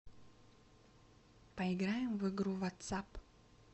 поиграем в игру ватсап